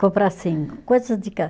Comprar, assim, coisas de